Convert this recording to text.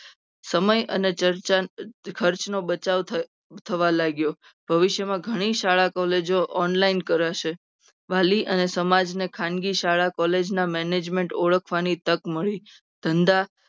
સમય અને ચર્ચા ખર્ચનો બચાવ થયો થવા લાગ્યો. ભવિષ્યમાં ઘણી શાળા કોલેજો online કરશે. વાલી અને સમાજને ખાનગી શાળા college ના management ઓળખવાની તક મળી ધંધા